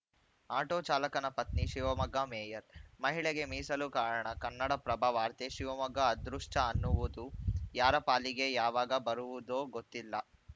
auto ಚಾಲಕನ ಪತ್ನಿ Shivamogga mayor ಮಹಿಳೆಗೆ ಮೀಸಲು ಕಾರಣ ಕನ್ನಡಪ್ರಭ ವಾರ್ತೆ ಶಿವಮೊಗ್ಗ ಅದೃಷ್ಟಅನ್ನುವುದು ಯಾರ ಪಾಲಿಗೆ ಯಾವಾಗ ಬರುವುದೋ ಗೊತ್ತಿಲ್ಲ